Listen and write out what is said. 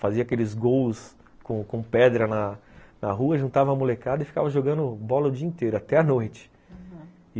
Fazia aqueles gols com pedra na rua, juntava a molecada e ficava jogando bola o dia inteiro, até a noite, aham.